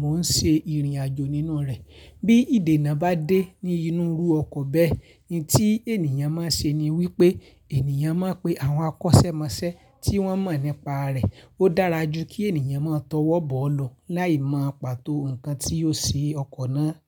mò ń ṣe ìrìn àjò nínúu rẹ̀. Bí ìdènà bá dé ní inú ru ọkọ̀ bẹ́ẹ̀, ohun tí ènìyàn máa ń ṣe ni wípé ènìyàn máa ń pe àwọn akọ́sẹ́mọsẹ́ tí wọ́n mọ̀ nípa rẹ̀. Ó dára jù kí ènìyàn mọ́han tọwọ́ bọ̀ ọ́ lọ láì mọ pàtó nǹkan tí ó ṣe ọkọ̀ náà.